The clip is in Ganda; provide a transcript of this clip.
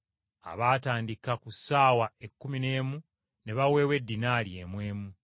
“Abaatandika ku ssaawa ekkumi n’emu ne baweebwa eddinaali emu emu.